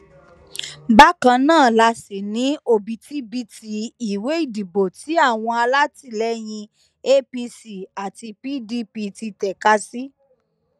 bákan náà la sì ní òbítíbitì ìwé ìdìbò tí àwọn alátìlẹyìn apc àti pdp ti tẹka sí